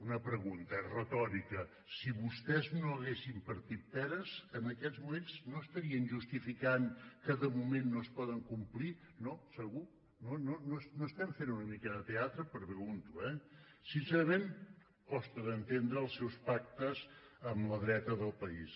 una pregunta retòrica si vostès no haguessin partit peres en aquests moments no estarien justificant que de moment no es poden complir no segur una mica de teatre ho pregunto eh sincerament costa d’entendre els seus pactes amb la dreta del país